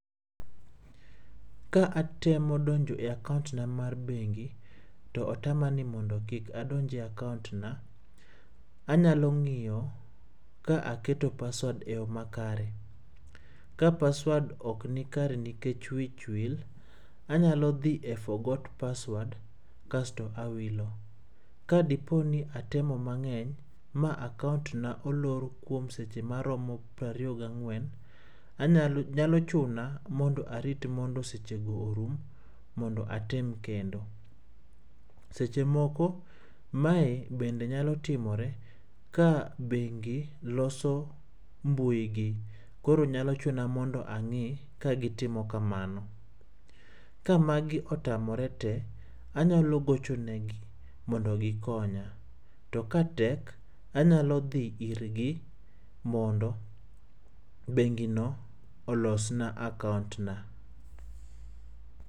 Ka atemo donjo e akaont na mar bengi, to otamani mondo kik adonj e akaont na, anyalo ng'iyo ka aketo password eyo makare. Ka password ok nikare nikech wich wil, anyalo dhi e forgot password kasto awilo. Kadipo ni atemo mang'eny, ma akaont na olor maromo seche maromo piero ariyo gang'wen, anyalo nyalo chuna ni arit mondo arit mondo sechego orum mondo atem kendo. Seche moko, mae bende nyalo timore ka bengi loso mbui gi. Koro nyalo chuna mondo ang'i ka gitimo kamano. Ka magi otamore tee, anyalo gocho negi mondo gikonya. To katek, anyalo dhi irgi mondo bengino olosna akaont na.